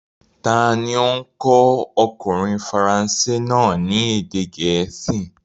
Ta ni ó kọ́ ọkùnrin faransé náà ní èdè gẹ̀ẹ́sì?